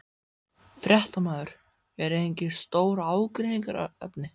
Fréttamaður: Eru engin stór ágreiningsefni?